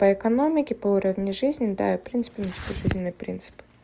по экономике по уровню жизни да в принципе у меня такой жизненный принцип